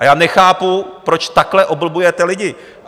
A já nechápu, proč takhle oblbujete lidi.